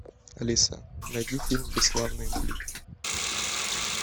алиса найди фильм бесславные ублюдки